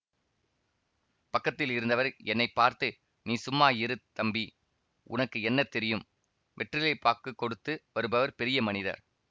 பக்கத்தில் இருந்தவர் என்னை பார்த்து நீ சும்மா இரு தம்பி உனக்கு என்ன தெரியும் வெற்றிலை பாக்குக் கொடுத்து வருபவர் பெரிய மனிதர்